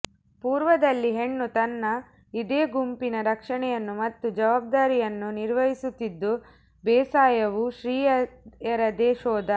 ಪೂರ್ವದಲ್ಲಿ ಹೆಣ್ಣು ತನ್ನ ಇದೇ ಗುಂಪಿನ ರಕ್ಷಣೆಯನ್ನು ಮತ್ತು ಜವಾಬ್ದಾರಿಯನ್ನು ನಿರ್ವಹಿಸುತ್ತಿದ್ದು ಬೇಸಾಯವು ಸ್ತ್ರೀಯರದೇ ಶೋಧ